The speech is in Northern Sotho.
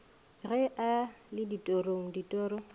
ge a le ditorong ditoro